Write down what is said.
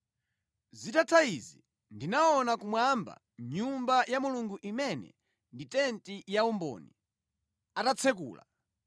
Zitatha izi, ndinaona kumwamba Nyumba ya Mulungu imene ndi Tenti ya Umboni, atatsekula.